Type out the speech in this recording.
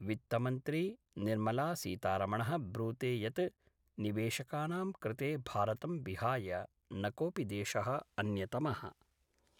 वित्तमंत्री निर्मलासीतारमणः ब्रूते यत् निवेशकानां कृते भारतं विहाय न कोपि देशः अन्यतमः।